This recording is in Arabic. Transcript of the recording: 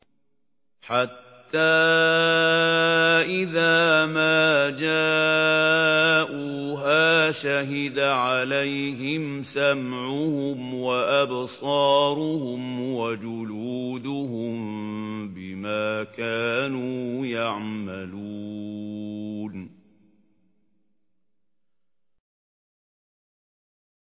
حَتَّىٰ إِذَا مَا جَاءُوهَا شَهِدَ عَلَيْهِمْ سَمْعُهُمْ وَأَبْصَارُهُمْ وَجُلُودُهُم بِمَا كَانُوا يَعْمَلُونَ